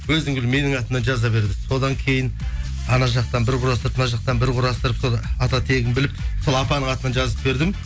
өзің біл менің атымнан жаза бер деді содан кейін анау жақтан бір құрастырып мына жақтан бір құрастырып сол ата тегін біліп сол атаның атынан жазып бердім